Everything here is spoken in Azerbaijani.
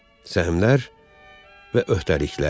Səhmlər və öhdəliklər.